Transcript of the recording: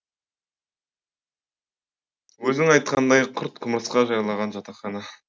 өзің айтқандай құрт құмырсқа жайлаған жатақханаға